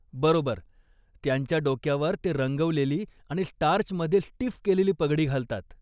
बरोबर! त्यांच्या डोक्यावर ते रंगवलेली आणि स्टार्चमध्ये स्टिफ केलेली पगडी घालतात.